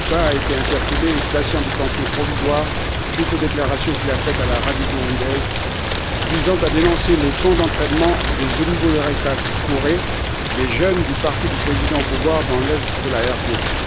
Mbonimpa a été interpellé et placé en détention provisoire suite aux déclarations qu'il a faites à la radio burundaise, visant à dénoncer les camps d'entraînement des Imbonerakure les jeunes du parti du président au pouvoir, dans l'est de la RDC.